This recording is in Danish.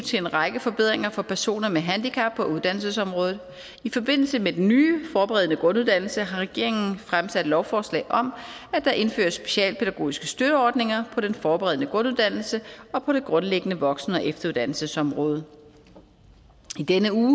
til en række forbedringer for personer med handicap på uddannelsesområdet i forbindelse med den nye forberedende grunduddannelse har regeringen fremsat lovforslag om at der indføres specialpædagogiske støtteordninger på den forberedende grunduddannelse og på det grundlæggende voksen og efteruddannelsesområde i denne uge